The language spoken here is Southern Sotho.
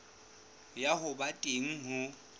ya ho ba teng ho